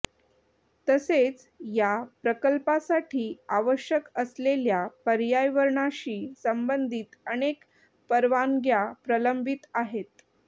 तसेच या प्रकल्पासाठी आवश्यक असलेल्या पर्यावरणाशी संबंधित अनेक परवानग्या प्रलंबित आहेत